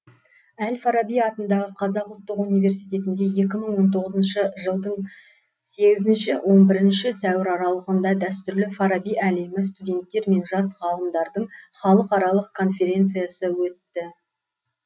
әл фараби атындағы қазақ ұлттық университетінде екі мың он тоғызыншы жылдың сегізінші он бірінші сәуір аралығында дәстүрлі фараби әлемі студенттер мен жас ғалымдардың халықаралық конференциясы өтті